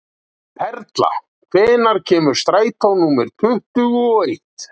Perla, hvenær kemur strætó númer tuttugu og eitt?